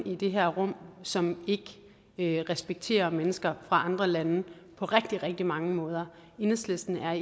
i det her rum som ikke respekterer mennesker fra andre lande på rigtig rigtig mange måder enhedslisten er